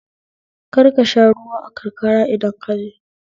Kar ka sha ruwa a karkara idan kaje